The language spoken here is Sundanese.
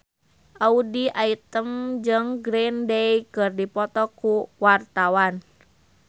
Audy Item jeung Green Day keur dipoto ku wartawan